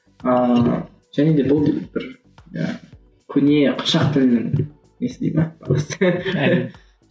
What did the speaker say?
ыыы және де бұл бір яғни көне қыпшақ тілінің несіне ме ұласты әрине